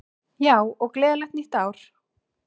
Já, og gleðilegt nýtt ár!